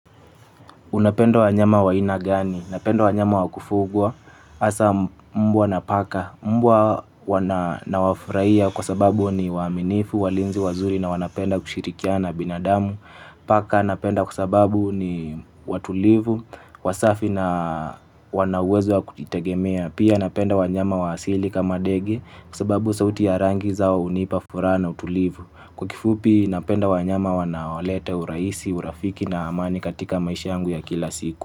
Unapenda wanyama wa aina gani? Unapenda wanyama wa kufugwa hasaa mbwa na paka. Mbwa nawafurahiya kwa sababu ni waaminifu, walinzi wazuri na wanapenda kushirikiana na binadamu. Paka napenda kwa sababu ni watulivu, wasafi na wanauwezo wa kujitegemea. Pia napenda wanyama waasili kama ndege kwa sababu sauti ya rangi zao hunipa furaha na utulivu. Kwa kifupi napenda wanyama wanaolete urahisi, urafiki na amani katika maisha yangu ya kila siku.